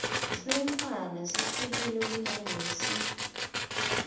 semntfwana sehlukile kunalesi